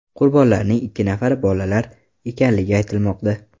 Qurbonlarning ikki nafari bolalar ekanligi aytilmoqda.